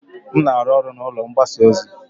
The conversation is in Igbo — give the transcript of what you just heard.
M na-arụ ọrụ na ụlọ ọrụ mgbasa ozi.